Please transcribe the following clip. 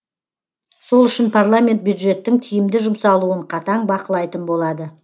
сол үшін парламент бюджеттің тиімді жұмсалуын қатаң бақылайтын болады